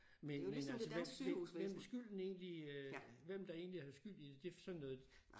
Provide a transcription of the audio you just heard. Men men altså hvem hvem hvem skylden egentlig øh hvem der egentlig er skyld i det sådan noget